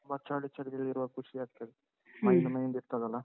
ತುಂಬ ಚಳಿ ಚಳಿ ಇರ್ವಾಗ ಖುಷಿಯಾಗ್ತದೆ. ಇರ್ತದಲ್ಲ.